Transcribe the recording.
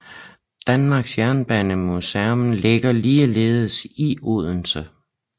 Danmarks Jernbanemuseum ligger ligeledes i Odense